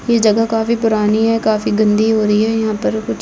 ये जगह काफी पूरानी है काफी गन्दी हो रही है यहाँ पर कूछ--